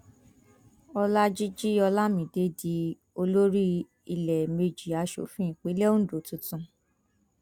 ọlajìji olamide di olórí ìlẹẹmejì aṣòfin ìpínlẹ ondo tuntun